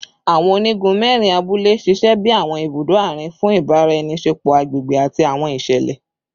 Awọn onigun mẹrin abule ṣiṣẹ bi awọn ibudo aarin fun ibaraenisepo agbegbe ati awọn iṣẹlẹ